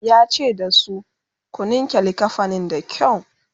yace da su "ku ninke linkafanin da kyau!"